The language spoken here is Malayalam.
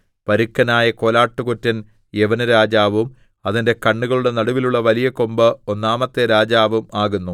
പരുക്കനായ കോലാട്ടുകൊറ്റൻ യവനരാജാവും അതിന്റെ കണ്ണുകളുടെ നടുവിലുള്ള വലിയ കൊമ്പ് ഒന്നാമത്തെ രാജാവും ആകുന്നു